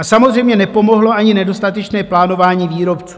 A samozřejmě nepomohlo ani nedostatečné plánování výrobců.